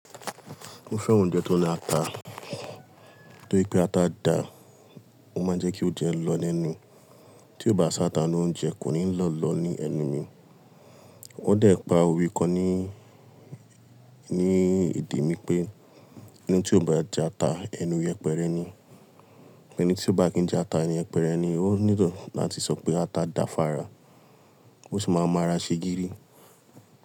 Mo fẹ́ oúnjẹ tó ní ata. Tóri pé ata dà, mo máa ń jẹ́ kí ó jẹ lọ́ lenú. Tí ó bá ṣá ta inú oúnjẹ, kò ní lọ́ lọ ní ẹnu mi. Wọ́n dẹ̀ pa òwe kan ní, ní èdè mi pé ẹni tí ò bá jẹ ata, ẹnu yẹpẹrẹ ni. Ẹni tí ó bá kín jẹ ata, ẹni yẹpẹrẹ ni. Ó nílò láti sọ pé ata da fára, ó sì máa ma ara ṣe gírí.